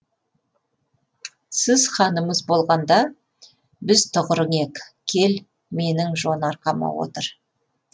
сіз ханымыз болғанда біз тұғырың ек кел менің жон арқама отыр